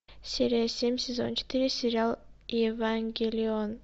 серия семь сезон четыре сериал евангелион